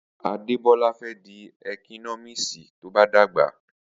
Adebola fẹ di ékínọmísí, tọ bà dàgbá.